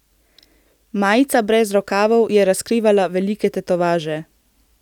Majica brez rokavov je razkrivala velike tetovaže.